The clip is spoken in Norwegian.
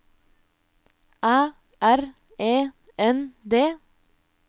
Æ R E N D